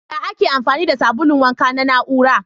Ya Ake amfani da sabulun wanka na na'ura?